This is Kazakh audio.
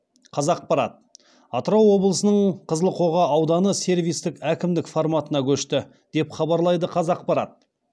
қазақпарат атырау облысының қызылқоға ауданы сервистік әкімдік форматына көшті деп хабарлайды қазақпарат